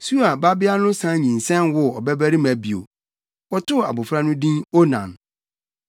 Sua babea no san nyinsɛn woo ɔbabarima bio. Wɔtoo abofra no din Onan.